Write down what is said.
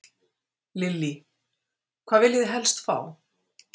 Lillý: Hvað viljið þið helst fá?